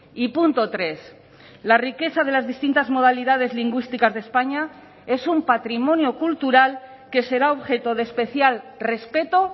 y punto tres la riqueza de las distintas modalidades lingüísticas de españa es un patrimonio cultural que será objeto de especial respeto